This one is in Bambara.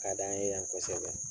Ka di an ye yan kosɛbɛ